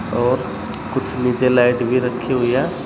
और कुछ नीचे लाइट भी रखी हुई है।